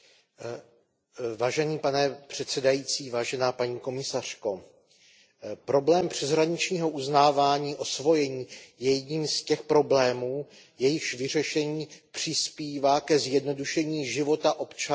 Pane předsedající, paní komisařko, problém přeshraničního uznávání osvojení je jedním z těch problémů, jejichž vyřešení přispívá ke zjednodušení života občanů EU.